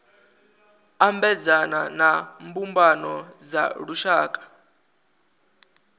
ambedzana na mbumbano dza lushaka